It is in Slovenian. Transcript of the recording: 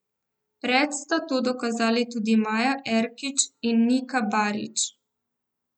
Pred sta to dokazali tudi Maja Erkić in Nika Barić.